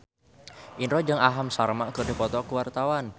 Indro jeung Aham Sharma keur dipoto ku wartawan